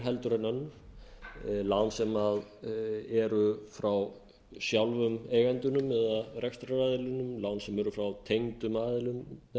en önnur lán sem eru frá sjálfum eigendunum eða rekstraraðilunum lán sem eru frá tengdum aðilum